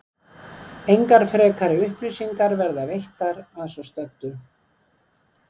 Engar frekari upplýsingar verða veittar að svo stöddu.